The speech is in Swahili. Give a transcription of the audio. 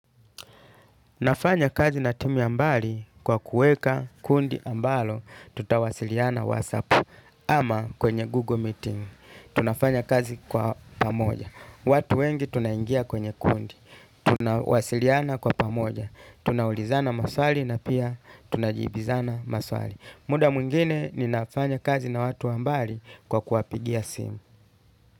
Nafanya kazi na timu ya mbali kwa kuweka kundi ambalo tutawasiliana whatsapp ama kwenye Google Meeting. Tunafanya kazi kwa pamoja. Watu wengi tunaingia kwenye kundi. Tunawasiliana kwa pamoja. Tunaulizana maswali na pia tunajibizana maswali. Muda mwingine ninafanya kazi na watu wa mbali kwa kuwapigia simu.